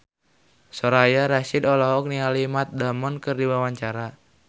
Soraya Rasyid olohok ningali Matt Damon keur diwawancara